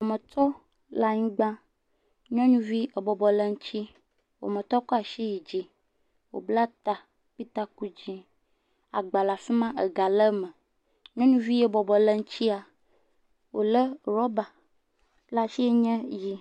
Wɔmetɔ le anyigba, nyɔnuvi ebɔbɔ le ŋuti, wɔmɔtɔ kɔ asi yi dzi, wòbla ta kpli taku dze, agba afi ma, ega le me. Nyɔnuvi ye bɔbɔ le ŋutia wòlé rɔba le asi yike nye ʋɛ̃.